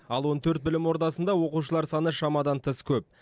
ал он төрт білім ордасында оқушылар саны шамадан тыс көп